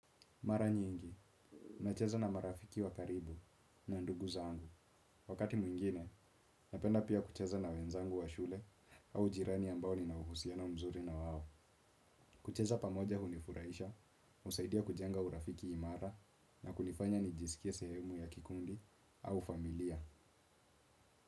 Mara nyingi, nacheza na marafiki wa karibu na ndugu zangu. Wakati mwingine, napenda pia kucheza na wenzangu wa shule au jirani ambao nina uhusiano mzuri na wao. Kucheza pamoja hunifurahisha, husaidia kujenga urafiki imara na kunifanya nijisikie sehemu ya kikundi au familia.